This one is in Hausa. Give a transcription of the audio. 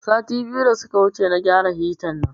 Sati biyu da suka wuce na gyara hita nan